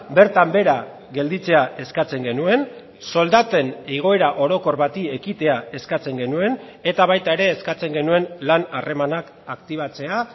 bertan behera gelditzea eskatzen genuen soldaten igoera orokor bati ekitea eskatzen genuen eta baita ere eskatzen genuen lan harremanak aktibatzea